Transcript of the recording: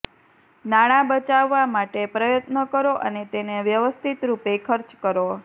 નાણા બચાવવા માટે પ્રયત્ન કરો અને તેને વ્યવસ્થિત રૂપે ખર્ચ કરો